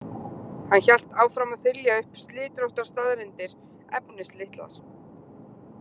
Hann hélt áfram að þylja upp slitróttar staðreyndir, efnislitlar.